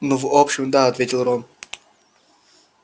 ну в общем да ответил рон